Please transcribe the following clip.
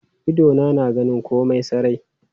Idona na ganin komai sarai.